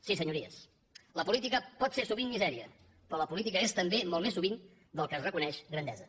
sí senyories la política pot ser sovint misèria però la política és també molt més sovint del que es reconeix grandesa